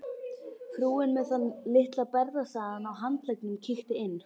Frúin með þann litla berrassaðan á handleggnum kíkti inn.